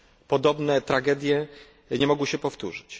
podobne tragedie nie mogły się powtórzyć.